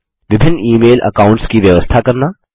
विभिन्न email accounts की व्यवस्था करना